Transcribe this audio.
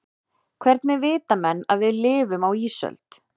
hvernig vita menn að við lifum á ísöld